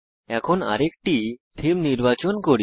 এখন আরেকটি থীম নির্বাচন করি